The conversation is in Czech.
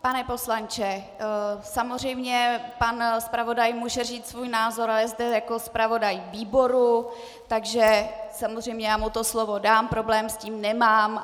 Pane poslanče, samozřejmě pan zpravodaj může říct svůj názor a je zde jako zpravodaj výboru, takže samozřejmě mu to slovo dám, problém s tím nemám.